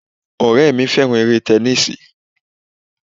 Ọ̀rẹ́ mi fẹ́ràn eré tẹnísíì